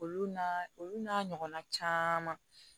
Olu na olu n'a ɲɔgɔnna caman